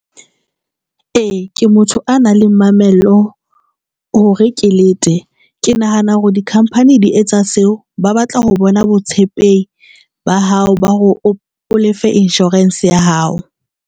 E, ke motho a nang le mamello hore ke lete. Ke nahana hore dikhamphani di etsa seo ba batla ho bona botshepehi ba hao ba hore o lefe insurance ya hao.